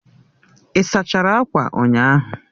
Ị sachara akwa ụnyaahụ